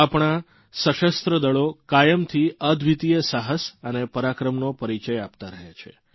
આપણા સશસ્ત્રદળો કાયમથી અદ્વિતિય સાહસ અને પરાક્રમનો પરિચય આપતા રહ્યા છે